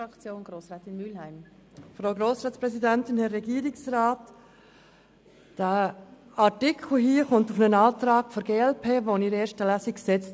Dieser Artikel hier kommt aus einem Antrag der glp-Fraktion während der ersten Lesung.